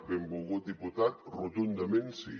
benvolgut diputat rotundament sí